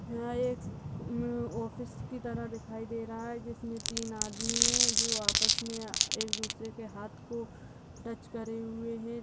ये एक आ ऑफिस की तरह दिखाइ दे रहा है जिस में तीन आदमी है जो आप में एक दूसरे के हाथ को टच करे हुए है।